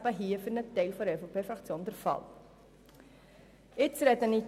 Für einen Teil der EVP-Fraktion ist dies hier der Fall.